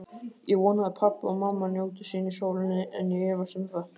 Ég vona að pabbi og mamma njóti sín í sólinni, en ég efast um það.